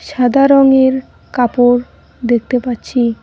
সাদা রঙের কাপড় দেখতে পাচ্ছি।